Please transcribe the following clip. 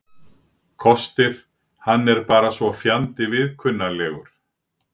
Kostir: Hann er bara svo fjandi viðkunnanlegur.